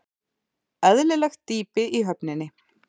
Eðlilegt dýpi í höfninni